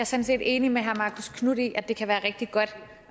set enig med herre marcus knuth i at det kan være rigtig godt